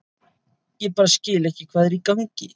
Ég bara skil ekki hvað er í gangi.